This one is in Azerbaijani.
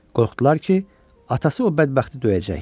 Qorxdular ki, atası o bədbəxti döyəcək.